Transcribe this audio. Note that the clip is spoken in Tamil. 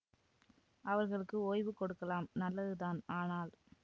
அவர்களுக்கு ஓய்வு கொடுக்கலாம் நல்லதுதான் ஆனால்